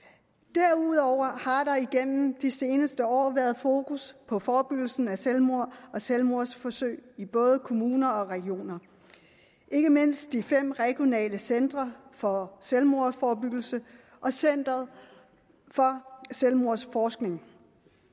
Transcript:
derudover har der igennem de seneste år været fokus på forebyggelsen af selvmord og selvmordsforsøg i både kommuner og regioner ikke mindst i fem regionale centre for selvmordsforebyggelse og center for selvmordsforskning